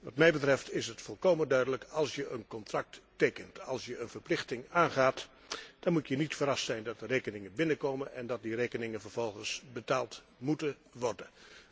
Wat mij betreft, is het volkomen duidelijk als je een contract tekent, als je een verplichting aangaat, dan moet je niet verrast zijn dat de rekeningen binnenkomen en dat die rekeningen vervolgens betaald moeten worden.